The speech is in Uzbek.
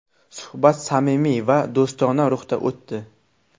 Suhbat samimiy va do‘stona ruhda o‘tdi.